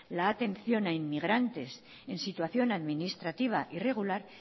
la atención a inmigrantes en situación administrativa irregular